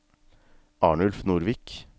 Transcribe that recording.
Arnulf Nordvik